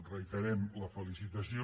reiterem la felicitació